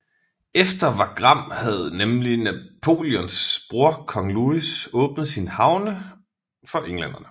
Efter Wagram havde nemlig Napoleons bror kong Louis åbnet sine havne for englænderne